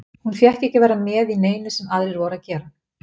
Hún fékk ekki að vera með í neinu sem aðrir voru að gera.